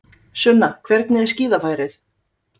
Sunna hvernig er skíðafærið?